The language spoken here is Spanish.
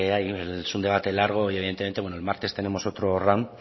hay es un debate largo y evidentemente el martes tenemos otro round